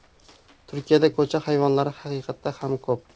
Turkiyada ko‘cha hayvonlari haqiqatda ham ko‘p.